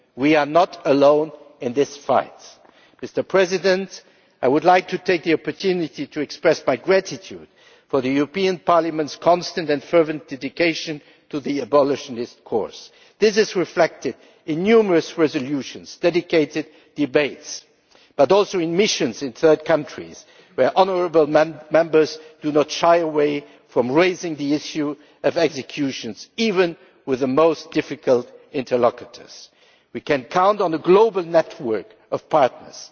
we are not alone in this fight. Mr President, I would like to take the opportunity to express my gratitude for the European Parliament's constant and fervent dedication to the abolitionist cause. This is reflected in numerous resolutions and dedicated debates but also in missions in third countries where honourable Members do not shy away from raising the issue of executions, even with the most difficult interlocutors. We can count on a global network of